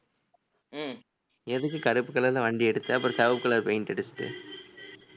உம் எதுக்கு கருப்பு color ல வண்டி எடுத்து அப்புறம் சிவப்பு color paint அடிச்சுட்டு